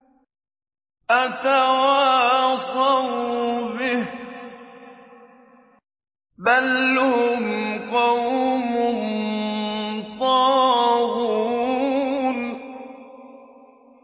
أَتَوَاصَوْا بِهِ ۚ بَلْ هُمْ قَوْمٌ طَاغُونَ